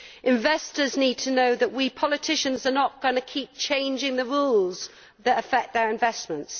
Investors need to know that we politicians are not going to keep changing the rules that affect their investments.